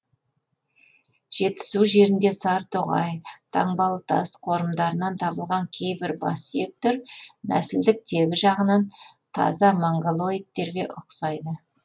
жетісу жерінде сарытоғай таңбалытас қорымдарынан табылған кейбір бас сүйектер нәсілдік тегі жағынан таза монғолоидтерге ұқсайды